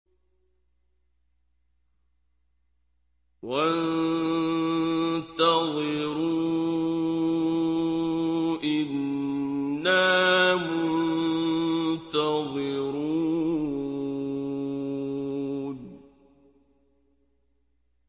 وَانتَظِرُوا إِنَّا مُنتَظِرُونَ